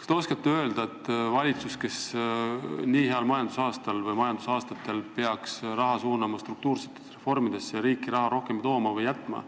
Kas te oskate öelda, kas valitsus, kes nii headel majandusaastatel peaks raha suunama struktuursetesse reformidesse ja riiki rohkem raha tooma või jätma,